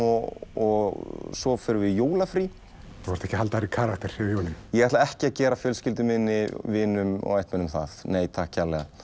og svo förum við í jólafrí þú þarft ekki að halda þér í karakter yfir jólin ég ætla ekki að gera fjölskyldu minni vinum og ættmennum nei takk